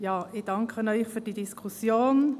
Ich danke Ihnen für diese Diskussion.